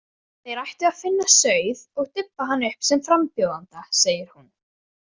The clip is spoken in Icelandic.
Þeir ættu að finna sauð og dubba hann upp sem frambjóðanda, segir hún.